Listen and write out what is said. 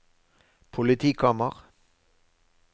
politikammer